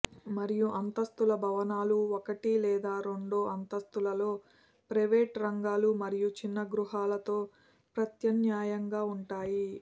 మరియు అంతస్థుల భవనాలు ఒకటి లేదా రెండు అంతస్తులలో ప్రైవేటు రంగాలు మరియు చిన్న గృహాలతో ప్రత్యామ్నాయంగా ఉంటాయి